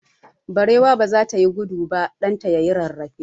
Barewa baza ta yi gudu ba, ɗan ta yayi rarrafe.